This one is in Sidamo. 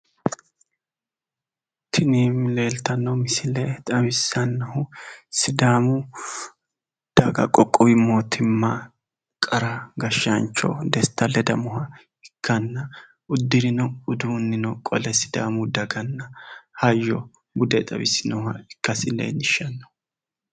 Tini leeltanno misisle xawissannohu sidaaamu qoqqowi mootimma qara gashshaancho desta ledamoha ikkanna uddirino uduunnino qole sidaamu daganna hayyo bude xawisinoha ikkasi leellishshanno.